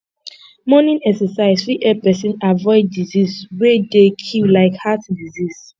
morning exercise fit help person avoid disease wey dey kill like heart disease